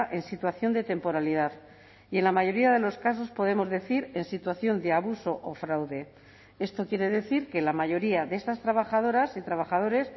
en situación de temporalidad y en la mayoría de los casos podemos decir en situación de abuso o fraude esto quiere decir que la mayoría de estas trabajadoras y trabajadores